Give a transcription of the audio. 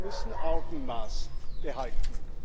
Wir müssen Augenmaß behalten.